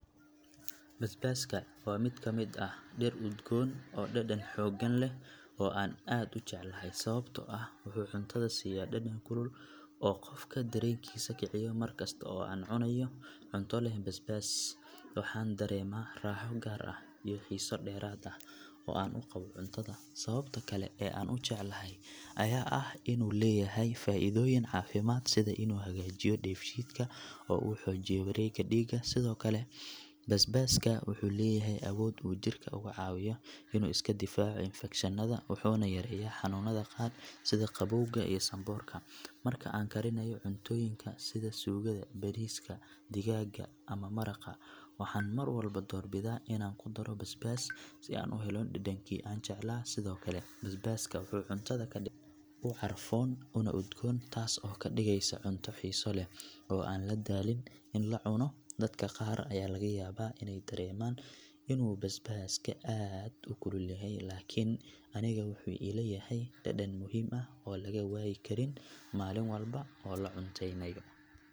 Basbaska waa mid ka mid ah dhir udgoon oo dhadhan xooggan leh oo aan aad u jeclahay sababtoo ah wuxuu cuntada siiyaa dhadhan kulul oo qofka dareenkiisa kiciyo markasta oo aan cunayo cunto leh basbas waxaan dareemaa raaxo gaar ah iyo xiiso dheeraad ah oo aan u qabo cuntada sababta kale ee aan u jeclahay ayaa ah inuu leeyahay faa’iidooyin caafimaad sida inuu hagaajiyo dheefshiidka oo uu xoojiyo wareegga dhiigga sidoo kale basbaska wuxuu leeyahay awood uu jidhka uga caawiyo inuu iska difaaco infakshannada wuxuuna yareeyaa xanuunnada qaar sida qabowga iyo sanboorka marka aan karinayo cuntooyinka sida suugada, bariiska, digaagga ama maraqa waxaan mar walba doorbidaa inaan ku daro basbas si aan u helo dhadhankii aan jeclaa sidoo kale basbaska wuxuu cuntada ka dhigaa mid u carfoon una udgoon taas oo ka dhigaysa cunto xiiso leh oo aan la daalin in la cuno dadka qaar ayaa laga yaabaa inay dareemaan inuu basbaska aad u kulul yahay laakiin aniga wuxuu ila yahay dhadhan muhiim ah oo laga waayi karin maalin walba oo la cunteynayo.